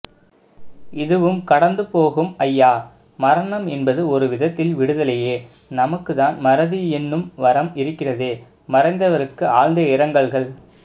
இதுவும்கடந்துபோகும் ஐயா மரணம் என்பது ஒரு விதத்தில் விடுதலையே நமக்குத்தான் மறதி என்னும் வரம் இருக்கிறதே மறைந்தவருக்கு ஆழ்ந்த இரங்கல்கள்